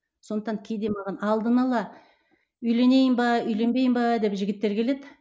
сондықтан кейде маған алдын ала үйленейін бе үйленбейін бе деп жігіттер келеді